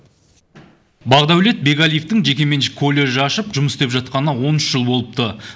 бақдәулет бекәлиевтің жекеменшік колледж ашып жұмыс істеп жатқанына он үш жыл болыпты